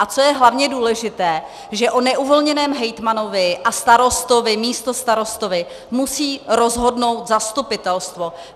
A co je hlavně důležité, že o neuvolněném hejtmanovi a starostovi, místostarostovi musí rozhodnout zastupitelstvo.